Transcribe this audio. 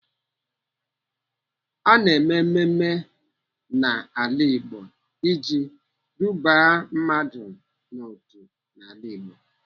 Ana eme mmemme n'ala Igbo iji duba mmadụ n'otu n'ala Igbo.